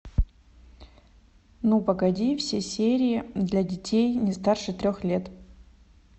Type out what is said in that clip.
ну погоди все серии для детей не старше трех лет